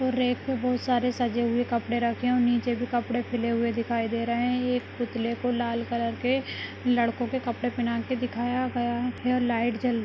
rake पे बहुत सारे सजे हुए कपड़े रखे हुए नीचे भी कपड़े फैले हुए दिखाई दे रहे है एक पुतले को लाल कलर के लड़को के कपड़े पेहना के दिखाया गया है और लाइट जल--